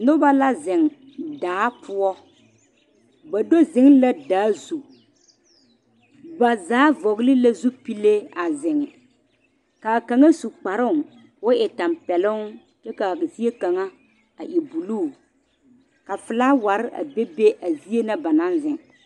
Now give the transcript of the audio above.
Noba la zeŋ daa poɔ ba do zeŋ la daa zu ba zaa vɔgele la zupile a zeŋ kaa kaŋ su kparoo ka o e tɛmpɛloŋ kyɛ kaa zie kaŋa a e buluu ka felaaware a be be a zie na ba naŋ zeŋ